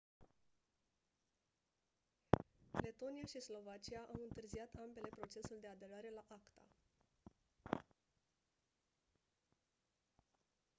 letonia și slovacia au întârziat ambele procesul de aderare la acta